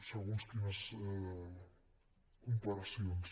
segons quines comparacions